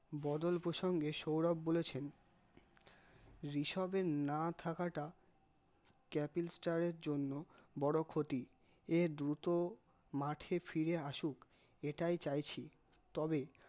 বদল প্রসঙ্গে সৌরভ বলেছেন ঋশপের না থাকাটা capil star এর জন্য বড় ক্ষতি এর দুটো মাঠে ফিরে আসুক এটাই চাইছি, তবে